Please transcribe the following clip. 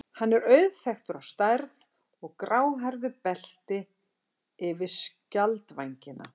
Hann er auðþekktur á stærð og gráhærðu belti yfir skjaldvængina.